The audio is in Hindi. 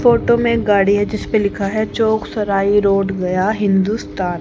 फोटो में एक गाड़ी है जिस पे लिखा है चौक सराय रोड गया हिंदुस्तान।